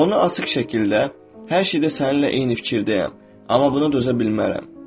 Onu açıq şəkildə hər şeydə səninlə eyni fikirdəyəm, amma buna dözə bilmərəm.